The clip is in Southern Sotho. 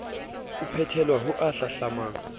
o phethelwa ho o hlahlamang